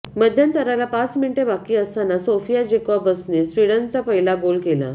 मध्यंतराला पाच मिनिटे बाकी असताना सोफिया जेकॉबसनने स्वीडनचा पहिला गोल केला